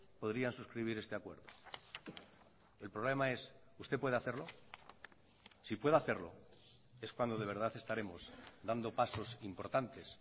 podrían suscribir este acuerdo el problema es usted puede hacerlo si puede hacerlo es cuando de verdad estaremos dando pasos importantes